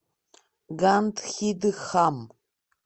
гандхидхам